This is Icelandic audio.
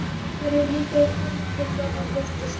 Fjörið líka í hámarki þegar hann birtist.